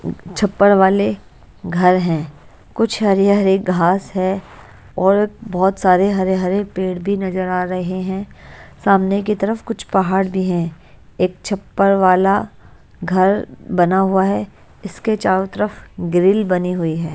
छप्पड़ वाले घर हैं कुछ हरे-हरे घास है और बहुत सारे हरे-हरे पेड़ भी नजर आ रहे हैं सामने की तरफ कुछ पहाड़ भी हैं एक छप्पड़ वाला घर बना हुआ है इसके चारों तरफ ग्रिल बनी हुई है।